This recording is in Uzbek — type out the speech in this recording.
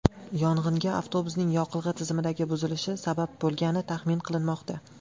Yong‘inga avtobusning yoqilg‘i tizimidagi buzilish sabab bo‘lgani taxmin qilinmoqda.